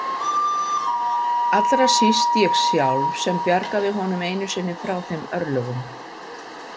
Allra síst ég sjálf sem bjargaði honum einu sinni frá þeim örlögum.